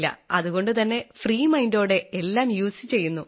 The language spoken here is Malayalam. അതുകൊണ്ടുതന്നെ ഫ്രീ mindഓടെ എല്ലാം യുഎസ്ഇ ചെയ്യുന്നു